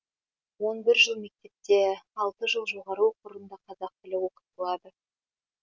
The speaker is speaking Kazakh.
он бір жыл мектепте алты жыл жоғары оқу орнында қазақ тілі оқытылады